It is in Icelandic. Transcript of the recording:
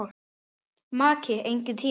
Maki: Enginn tími.